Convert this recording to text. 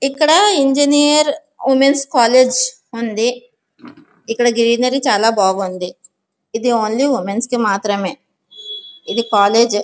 ఇక్కడ engineer women's college ఉంది. ఇక్కడ గ్రీనరీ చాలా బాగుంది. ఇది ఓన్లీ ఉమెన్స్ కి మాత్రమే. ఇది కాలేజ్ --